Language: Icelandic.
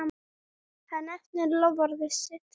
Hann efnir loforð sitt.